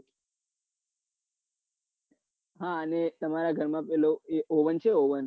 હા અને તમારા ઘરમાં પેલું એક oven છે